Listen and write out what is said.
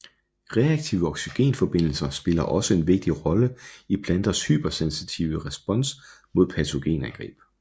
Reaktive oxygenforbindelser spiller også en vigtig rolle i planters hypersensitive respons mod patogenangreb